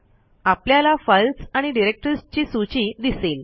आपल्याला फाईल्स आणि डिरेक्टरीजची सूची दिसेल